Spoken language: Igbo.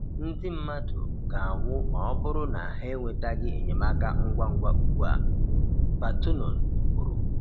Ndị mmadụ ga-anwụ ma ọ bụrụ na ha enwetaghị enyemaka ngwa ngwa ugbu a, Batonon kwuru